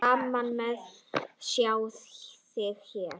Gaman að sjá þig hér!